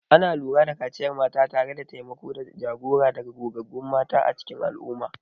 Ana lura da kaciyar mata tare da taimako da jagora daga gogaggun mata a cikin al'umma.